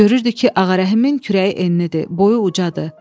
Görürdü ki, Ağarəhimin kürəyi eninidir, boyu ucacdır.